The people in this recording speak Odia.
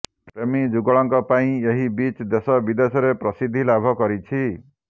ପ୍ରେମୀ ଯୁଗଳଙ୍କ ପାଇଁ ଏହି ବିଚ୍ ଦେଶବିଦେଶରେ ପ୍ରସିଦ୍ଧି ଲାଭ କରିଛି